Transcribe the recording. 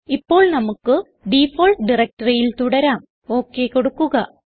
ഇപ്പോൾ നമുക്ക് ഡിഫാൾട്ട് directoryൽ തുടരാം ഒക് കൊടുക്കുക